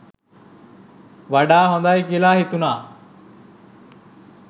වඩා හොඳයි කියලා හිතුණා.